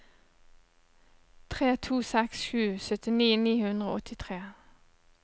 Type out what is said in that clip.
tre to seks sju syttini ni hundre og åttitre